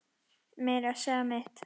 Meira að segja mitt